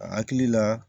A hakili la